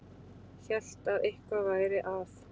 Hélt að eitthvað væri að.